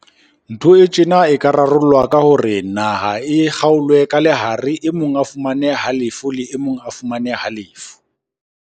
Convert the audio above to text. Ntho e tjena e ka rarollwa ka hore naha e kgaolwe ka lehare. Emong a fumane halefo le e mong a fumane halefo.